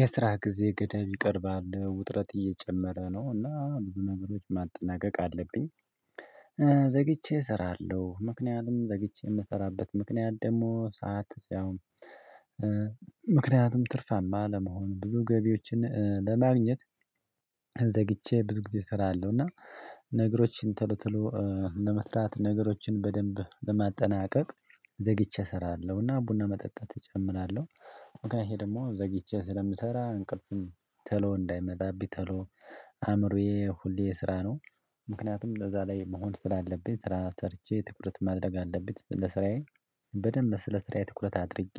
የስራ ጊዜ ገደብ ይቀርባል ውጥረት እየጨመረ ነው እና አሁን ነገሮች ማጠናቀቅ አለብኝ። ዘግቼ እሰራለሁ ምክንያቱም ዘግቼ የምሰራበት ምክንያት ደግሞ ሰዓት ያውም። ምክንያቱም ትርፋማ ለመሆኑ ብዙ ገቢዎችን ለማግኘት። ዘግቼ ብዙ ጊዜ እሰራለሁ እና ነገሮችን ቶሎቶሎ ለመስራት ነገሮችን በደንብ ለማጠናቀቅ ዘግይቼ እሰራለሁና ቡና መጠጣት እጀምራለሁ። እንግዲህ ደግሞ ዘግይቼ ስለምሰራ እንቅልፍም ተሎ እንዳይመጣብኝ ተሎ አእምሮዬ ሁሌ የስራ ነው። ምክንያቱም ለዛ ላይ መሆን ስላለብኝ ስራ ሰርቼ ትኩረት ማድረግ አለብኝ። ስራዬ በደንብ ስለ ስራዬ ትኩረት አድርጌ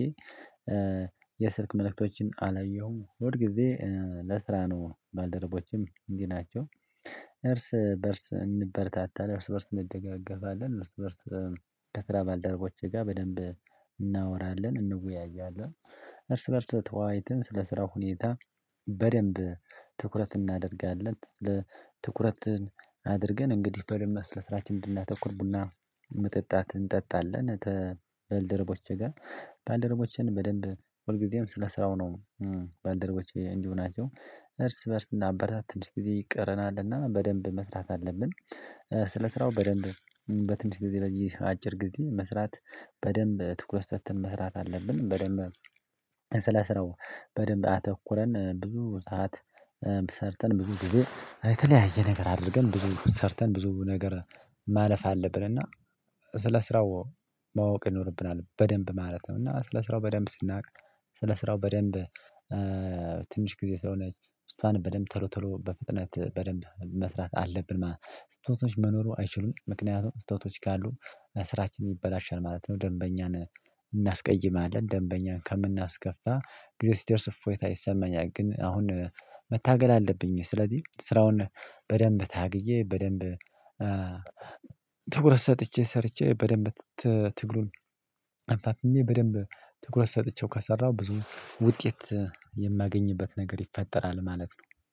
የስልክ መልእክቶችን አላየሁም ሁል ጊዜ ለስራ ነው ባልደረቦችም እንዲህ ናቸው። እርስ በእርስ እንበርታታለን እርስ በእርስ እንደገፈለን እርስ በእርስ ከስራ ባልደረቦቼ ጋር በደንብ እናወራለን እንወያያለን እርስ በእርስ ተዋይተን ስለ ስራው ሁኔታ በደንብ ትኩረት እናደርጋለን። ትኩረትን አድርገን እንግዲህ በደንብ ስለ ራችንን እንድናተኩር ቡና መጠጣት እንጠጣለን። በልደረቦቼ ጋር ባልደረቦቼን በደንብ ሁልጊዜም ስለስራው ነው። ባልደረቦቼ እንዲሁ ናቸው እርስ በእርስ እናበረታታለን እንዲህ ጊዜ ይቀረናልና በደንብ መስራት አለብን። ስለ ስራው በደንብ በትንሽ ጊዜ በየአጭር ጊዜ መስራት በደንብ ትኩረት ሰተን መስራት አለብን። በደንብ ስለ ስራው በደንብ አተኩረን ብዙ ሰዓት ሰርተን ብዙ ጊዜ የተለያየ ነገር አድርገን ብዙ ሰርተን ብዙ ነገር ማለፍ አለብን። እና ስለ ስራው ማወቅ ይኖርብናል በደንብ ማለት ነው። እና ስለ ስራው በደንብ ስናውቅ ስለ ስራው በደንብ ትንሽ ጊዜ ስለሆነ እሷን በደንብ ተሎ ተሎ በፍጥነት በደንብ መስራት አለብን ማለት ነው። ስህተቶች መኖሩ አይችሉም ምክንያቱም ስህተቶች ካሉ ስራችንን ይበላሻል ማለት ነው። ደንበኛን እናስቀይማለን ደንበኛን ከምናስከፋ ጊዜ ሲደርስ እፎይታ ይሰማኛል። ግን አሁን መታገል አለብኝ። ስለዚህ ስራውን በደንብ ታግዬ በደንብ ትኩረት ሰጥቼ ሰርቼ በደንብ ትግሉን አፋፍሜ በደንብ ትኩረት ሰጥቼው ካሰራሁ ብዙ ውጤት የማገኝበት ነገር ይፈጠራል ማለት ነው